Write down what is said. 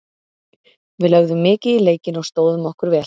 Við lögðum mikið í leikinn og stóðum okkur vel.